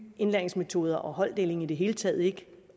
indlæringsmetoder og holddeling i det hele taget ikke